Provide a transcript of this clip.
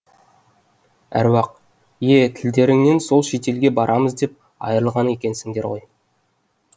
әруақ е тілдеріңнен сол шетелге барамыз деп айырылған екенсіңдер ғой